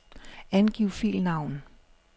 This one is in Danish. Angiv filnavn.